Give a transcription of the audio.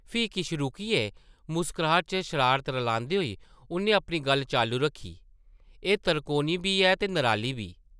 फ्ही किश रुकियै मुस्कराह्ट च शरारत रलांदे होई उʼन्नै अपनी गल्ल चालू रक्खी, एह् तरकोनी बी ऐ ते नराली बी ।